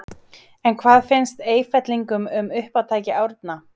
En hvað finnst Eyfellingum um uppátæki Árna?